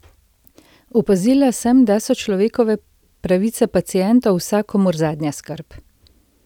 Opazila sem, da so človekove pravice pacientov vsakomur zadnja skrb.